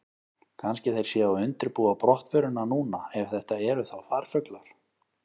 Kannski þeir séu að undirbúa brottförina núna, ef þetta eru þá farfuglar.